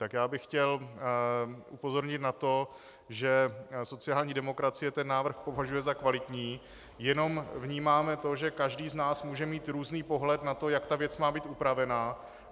Tak já bych chtěl upozornit na to, že sociální demokracie ten návrh považuje za kvalitní, jenom vnímáme to, že každý z nás může mít různý pohled na to, jak ta věc má být upravena.